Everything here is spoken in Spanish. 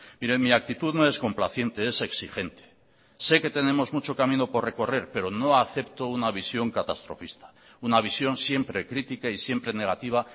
mire mi actitud no es complaciente es exigente sé que tenemos mucho camino por recorrer pero no acepto una visión catastrofista una visión siempre crítica y siempre negativa